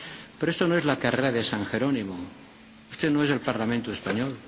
Pero esto no es la Carrera de San Jerónimo, esto no es el Parlamento español.